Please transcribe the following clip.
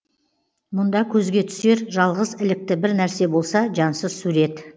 мұнда көзге түсер жалғыз ілікті бір нәрсе болса жансыз сурет